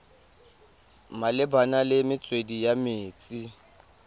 malebana le metswedi ya metsi